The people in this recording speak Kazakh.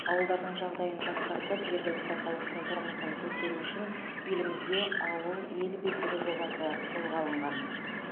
ауылдардың жағдайын жақсартып жергілікті халықтың тұрмысын көтеру үшін елімізде ауыл ел бесігі жобасы қолға алынған